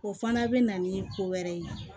O fana bɛ na ni ko wɛrɛ ye